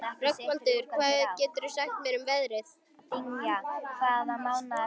Rögnvaldur, hvað geturðu sagt mér um veðrið?